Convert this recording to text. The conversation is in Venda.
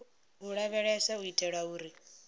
u lavheleswa u itela uri